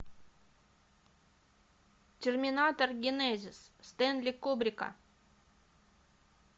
терминатор генезис стэнли кубрика